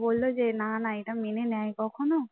বলল না না এটা মেনে নেয় কখনো